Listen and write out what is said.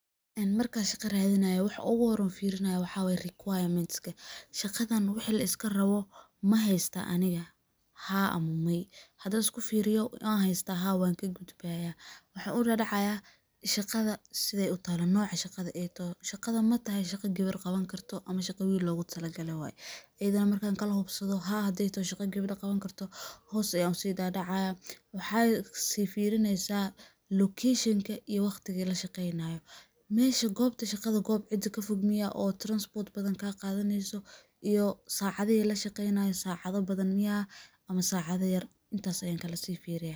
Marka shaqo radinayo waxa uguhore firinayo waxa wayeh requirements ka, shaqadan wixi liskarabo mahaysta aniga haa ama maya hadi aan iskufiriyo anhaystaa haa wanka gudbaya, waxan udadacayah shaqada sidhey utala, shaqada matahahy mid geber qabani karto ama shaqo wil logutalagale waye iyadanah markan kalahubsado haa haday tahay shaqada geber qabani karto hos ayan usidadacayah waxad sii firineysa lokeshenka iyo waqtiga lashaqeynayo mishi gobtu shaqada Mel fog miyh transport kaqadaneyso iyo sacadihi lashaqeynayo sacada badhan miyah ama sacada yar ankalasifiriyah.